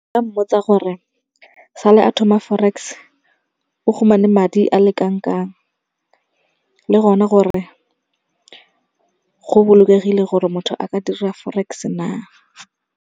Nka mmotsa gore sale a thoma Forex o khumane madi a le kanangkang. Le gone gore go bolokegile gore motho a ka dira Forex-e na.